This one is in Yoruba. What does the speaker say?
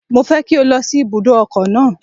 Mo fẹ́ kí o lọ sí ibùdó ọkọ̀ náà.